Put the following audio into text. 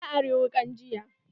Ta ari wukan jiya.